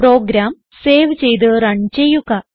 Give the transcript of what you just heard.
programme save ചെയ്ത് run ചെയ്യുക